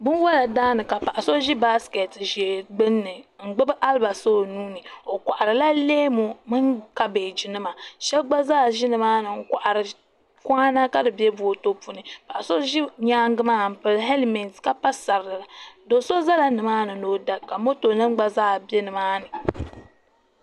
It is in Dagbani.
Binwola daani ka paɣa so ʒi baasiketi ʒee gbini n gbibi alibasa o nuuni o koharila leemu mini kabaji nima sheba gba zaa ʒi nimaani n kohari kawana ka di be boto puuni paɣa so ʒi nyaanga maa m pili helimenti ka pa sariga do'so zala nimaani ni o da ka moto nima gba zaa be nimaani.